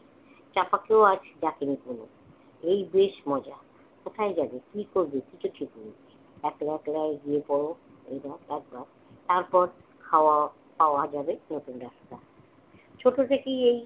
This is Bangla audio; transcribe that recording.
চাঁপাকেও আজ ডাকেনি ঝুমুর। এই বেশ মজা। কোথায় যাবে, কি করবে কিছু ঠিক নেই। একলা একলাই গিয়ে পড় হাওয়াও খাওয়া যাবে নতুন রাস্তায়। ছোট থেকেই এই